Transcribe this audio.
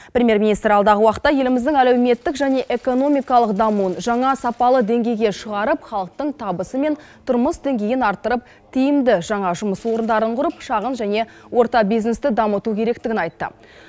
премьер министр алдағы уақытта еліміздің әлеуметтік және экономикалық дамуын жаңа сапалы деңгейге шығарып халықтың табысы мен тұрмыс деңгейін арттырып тиімді жаңа жұмыс орындарын құрып шағын және орта бизнесті дамыту керектігін айтты